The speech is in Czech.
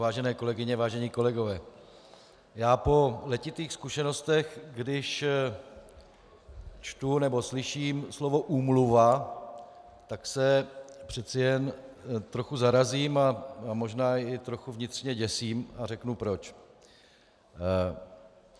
Vážené kolegyně, vážení kolegové, já po letitých zkušenostech, když čtu nebo slyším slovo úmluva, tak se přece jen trochu zarazím a možná i trochu vnitřně děsím a řeknu proč.